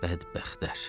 Bədbəxtlər.